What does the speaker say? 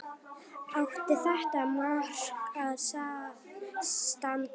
Átti þetta mark að standa?